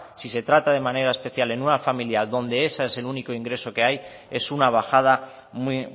si se trata de manera especial en una familia donde ese es el único ingreso que hay es una bajada muy